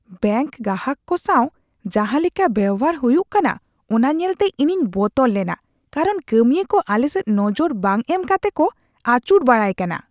Bank ᱜᱟᱦᱟᱠ ᱠᱚ ᱥᱟᱶ ᱡᱟᱦᱟᱸ ᱞᱮᱠᱟ ᱵᱮᱣᱦᱟᱨ ᱦᱩᱭᱩᱜ ᱠᱟᱱᱟ ᱚᱱᱟ ᱧᱮᱞᱛᱮ ᱤᱧᱤᱧ ᱵᱚᱛᱚᱨ ᱞᱮᱱᱟ ᱠᱟᱨᱚᱱ ᱠᱟᱹᱢᱤᱭᱟᱹ ᱠᱚ ᱟᱞᱮ ᱥᱮᱫ ᱱᱚᱡᱚᱨ ᱵᱟᱝ ᱮᱢ ᱠᱟᱛᱮ ᱠᱚ ᱟᱹᱪᱩᱨ ᱵᱟᱲᱟᱭ ᱠᱟᱱᱟ ᱾